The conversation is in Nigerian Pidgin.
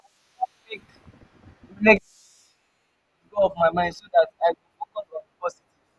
i go like make negative um thoughts go off my mind so dat i go focus on di positive.